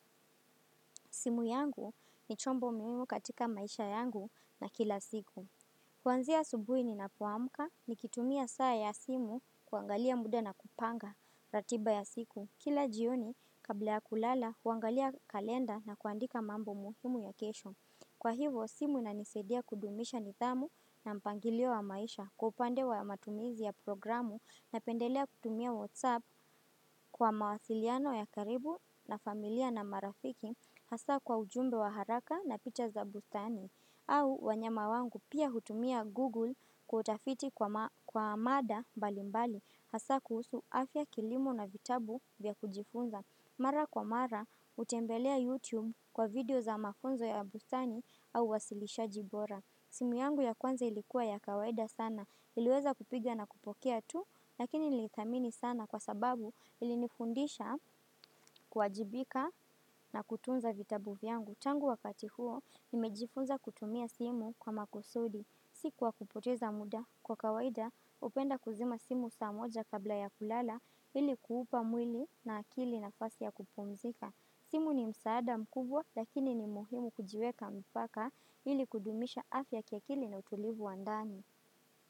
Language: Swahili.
Simu yangu ni chombo muhimu katika maisha yangu na kila siku. Kuanzia asubuhi ni napoamka ni kitumia saa ya simu kuangalia muda na kupanga ratiba ya siku. Kila jioni, kabla ya kulala, kuangalia kalenda na kuandika mambo muhimu ya kesho. Kwa hivyo, simu inanisadia kudumisha nidhamu na mpangilio wa maisha kwa upande wa matumizi ya programu Napendelea kutumia WhatsApp kwa mawasiliano ya karibu na familia na marafiki hasa kwa ujumbe wa haraka na picha za bustani. Au wanyama wangu pia hutumia Google kwa utafiti kwa mada mbalimbali hasa kuhusu afya kilimo na vitabu vya kujifunza. Mara kwa mara hutembelea YouTube kwa video za mafunzo ya busani au uwasilishaji bora. Simu yangu ya kwanza ilikuwa ya kawaida sana. Iliweza kupiga na kupokea tu, lakini niliidhamini sana kwa sababu ilinifundisha kuwajibika na kutunza vitabu vyangu. Tangu wakati huo, nimejifunza kutumia simu kwa makusudi. Si kwa kupoteza muda kwa kawaida, hupenda kuzima simu saa moja kabla ya kulala ili kuupa mwili na akili nafasi ya kupumzika. Simu ni msaada mkubwa lakini ni muhimu kujiweka mpaka ili kudumisha afya kiakili na utulivu wa ndani.